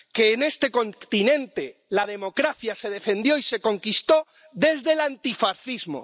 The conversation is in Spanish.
En este continente la democracia se defendió y se conquistó desde el antifascismo.